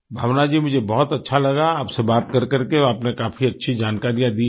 भावना जी मुझे बहुत अच्छा लगा आपसे बात कर करके आपने काफी अच्छी जानकारियाँ दी हैं